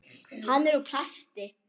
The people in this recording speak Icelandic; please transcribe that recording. Hann er úr plasti.